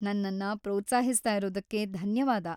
ನನ್ನನ್ನ ಪ್ರೋತ್ಸಾಹಿಸ್ತಾ ಇರೋದಕ್ಕೆ ಧನ್ಯವಾದ.